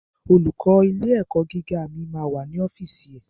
Olùkó ilé ẹ̀kọ́ gíga mi ma wà ní ọ́fìsì ẹ̀.